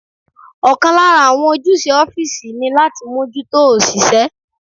Ọ̀kan lára àwọn ojúṣe ọ́físì ní láti mójútó òṣìṣẹ́